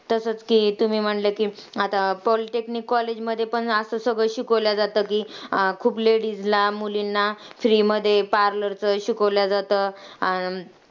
तसंच की, तुम्ही म्हणले की polytechnique college मध्ये पण असं सगळं शिकवल्या जातं. की खूप ladies ला, मुलींना free मध्ये parlor चं शिकवल्या जातं.